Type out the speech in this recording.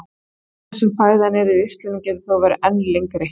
Tíminn sem fæðan er í ristlinum getur þó verið enn lengri.